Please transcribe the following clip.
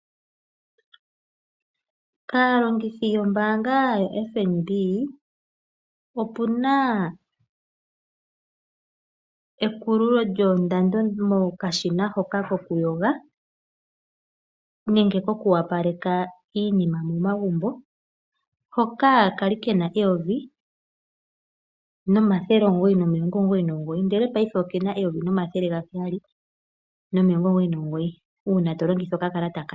Kaalongithi yombaanga yoFNB, opuna ekululo lyoondando mokashina hoka kokuyoga nenge koku opaleka iinima momagumbo hoka kwali kena 1999 ngashingeyi okena 1799 uuna to longitha okakalata kaFNB.